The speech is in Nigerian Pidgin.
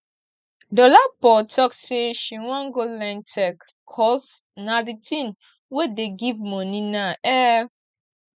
dolapo talk say she wan go learn tech cos na the thing wey dey give money now um